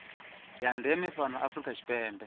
ya ndeme fhano afrika tshipembe